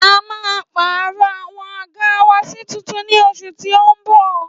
À ḿa pàró àwon àgá wà si tuntun ni ọsù tí ó ń bọ̀